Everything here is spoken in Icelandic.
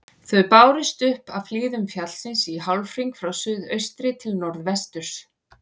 Þau bárust upp af hlíðum fjallsins í hálfhring frá suðaustri til norðvesturs.